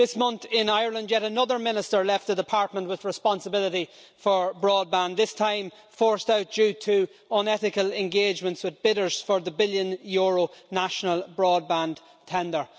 This month in Ireland yet another Minister left the Department with responsibility for broadband, this time forced out due to unethical engagements with bidders for the billion euro National Broadband tender.